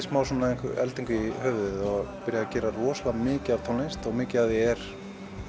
smá svona eldingu í höfuðið og byrjaði að gera rosalega mikið af tónlist og mikið af því er